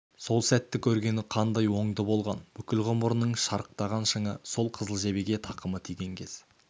сол сәтті көргені қандай оңды болған бүкіл ғұмырының шарықтаған шыңы сол қызыл жебеге тақымы тиген кез